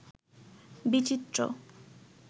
বিচিত্র